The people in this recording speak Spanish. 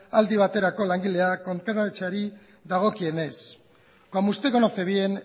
aldi baterako langileak kontratatzeari dagokienez como usted conoce bien